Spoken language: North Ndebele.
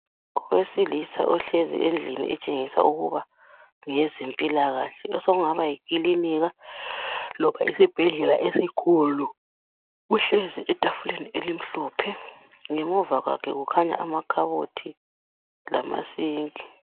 Owesilisa ohlezi endlini etshengisa ukuba ngeyezempilakahle osokungaba yikilinika loba esibhedlela esikhulu. Uhleli etafuleni elimhlophe ngemuva kwakhe kukhanya amakhabothi lamasinki.